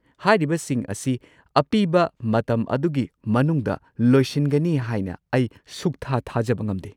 ꯍꯥꯏꯔꯤꯕꯁꯤꯡ ꯑꯁꯤ ꯑꯄꯤꯕ ꯃꯇꯝ ꯑꯗꯨꯒꯤ ꯃꯅꯨꯡꯗ ꯂꯣꯏꯁꯤꯟꯒꯅꯤ ꯍꯥꯏꯅ ꯑꯩ ꯁꯨꯛꯊꯥ -ꯊꯥꯖꯕ ꯉꯝꯗꯦ꯫